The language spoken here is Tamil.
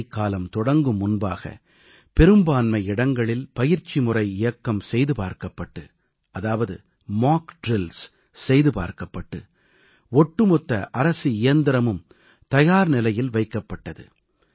மழைக்காலம் தொடங்கும் முன்பாக பெரும்பான்மை இடங்களில் பயிற்சிமுறை இயக்கம் செய்து பார்க்கப்பட்டு ஒட்டுமொத்த அரசு இயந்திரமும் தயார்நிலையில் வைக்கப்பட்டது